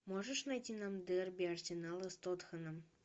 можешь найти нам дерби арсенала с тоттенхэмом